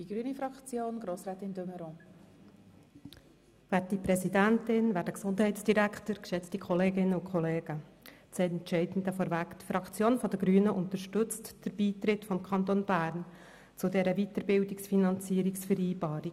Das Entscheidende zuerst vorweg: Die Fraktion der Grünen unterstützt den Beitritt des Kantons Bern zur Weiterbildungsfinanzierungsvereinbarung.